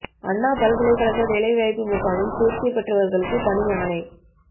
அண்ணா பல்கலைகழக வேலை வாய்ப்பு முகாமில் தோ்ச்சி பெற்றவா்களுக்கு பணி ஆணை